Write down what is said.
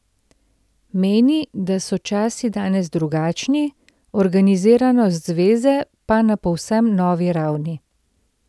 Meni, da so časi danes drugačni, organiziranost zveze pa na povsem novi ravni.